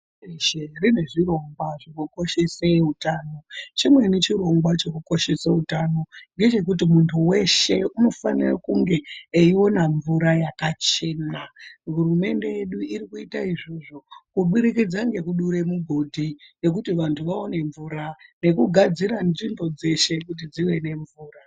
Hurumende dzeshe dzine zvirongwa zvinokoshese utano. Chimweni chirongwa chekukoshese utano ngechekuti muntu weshe unofanira kunge eiona mvura yakachena. Hurumende yedu iri kuita izvozvo kuburikidza ngekudure migodhi yekuti vantu vawane mvura nekugadzira nzvimbo dzeshe kuti dzive nemvura.